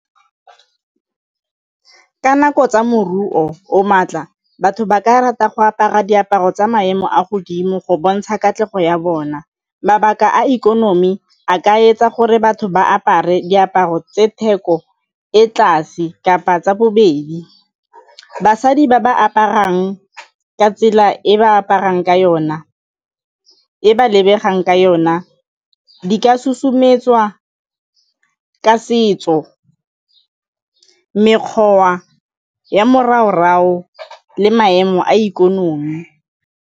Ka nako tsa moruo o maatla, batho ba ka rata go apara diaparo tsa maemo a godimo go bontsha katlego ya bona. Mabaka a ikonomi a ka etsa gore batho ba apare diaparo tse theko ko tlase kapa tsa bobedi. Basadi ba ba aparang ka tsela e ba aparang ka yona e ba lebegang ka yona di ka susumetsa jwa ka setso mekgwa ya le maemo a ikonomi.